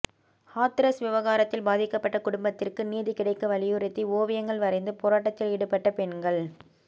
ஹாத்ரஸ் விவகாரத்தில் பாதிக்கப்பட்ட குடும்பத்திற்கு நீதி கிடைக்க வலியுறுத்தி ஓவியங்கள் வரைந்து போராட்டத்தில் ஈடுபட்ட பெண்கள்